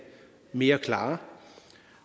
mere klare